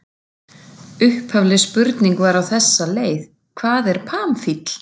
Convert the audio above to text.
Upphafleg spurning var á þessa leið: Hvað er pamfíll?